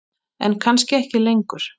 En kannski ekki lengur.